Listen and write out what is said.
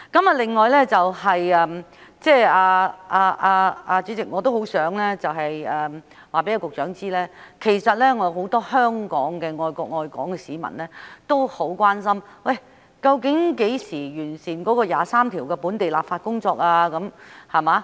此外，主席，我也很想告訴局長，其實香港有很多愛國愛港的市民也很關心究竟何時完成《基本法》第二十三條的本地立法工作？